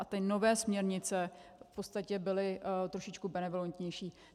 A ty nové směrnice v podstatě byly trošičku benevolentnější.